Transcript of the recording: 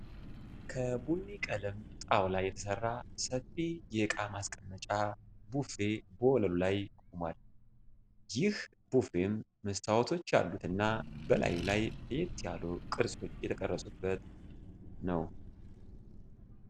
ከቡኒ ቀለም ጣውላ የተሰራ ሰፊ የእቃ ማስቀመጫ ቡፌ በወለሉ ላይ ቆሟል። ይህ ቡፌም መስታወቶች ያሉት እና በላዩ ላይ ለየት ያሉ ቅርጾች የተቀረጹበት ነው።